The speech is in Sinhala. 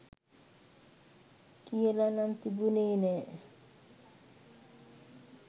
කියලනම් තිබුනේ නැ